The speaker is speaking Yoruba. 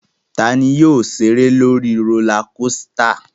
Ta ni yóò ṣeré lórí rólá kosità?